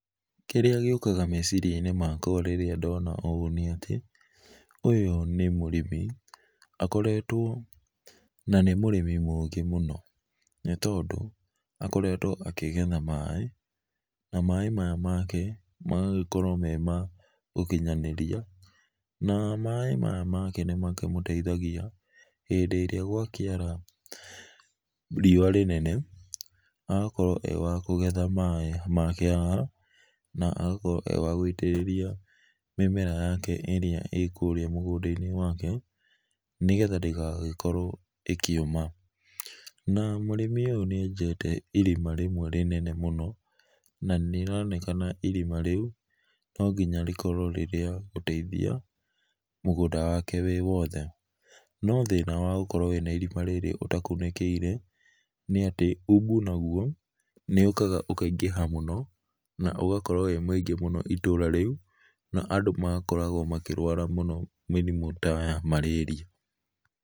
Kĩrĩa gĩũkaga meciria inĩ makwa rĩrĩa ndona ũũ nĩ atĩ ũyũ nĩ mũrĩmi akoretwo na nĩ mũrĩmi mũũgĩ mũno nĩ tondũ akoretwo akĩgetha maĩ na maĩ maya make magakorwo me ma gũkĩnyanĩrĩa, na maĩ maya make nĩ makĩmũteithagĩa hĩndĩ ĩrĩa gwakĩara rĩũa rĩnene na agakorwo e wa kũgetha maĩ make haha na agakorwo e wa gũitĩrĩria mĩmera yake ĩrĩa ĩ kũrĩa mũgũnda inĩ wake, nĩ getha ndĩgagĩkorwo ĩkĩũma na mũrĩmi ũyũ nĩenjete irĩma rĩmwe rĩnene mũno na nĩ araonekana ĩrĩma rĩũ no ngĩnya rĩkorwo rĩ rĩa gũteithĩa mũgũnda wake wĩ wothe no thĩna wa gũkorwo wĩna ĩrĩma rĩrĩ ũtakũnĩkĩire nĩ atĩ ũbũ nagũo nĩ ũkaga ũkaigĩha mũno na ũgakorwo wĩ mũingĩ mũno itũra rĩũ na andũ magakoragwo makĩrũara mũno mĩrĩmũ ta ya malaria.